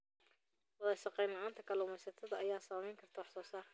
Wadashaqeyn la'aanta kalluumeysatada ayaa saameyn karta wax soo saarka.